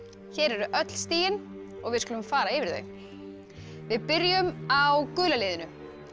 hér eru öll stigin og við skulum fara yfir þau við byrjum á gula liðinu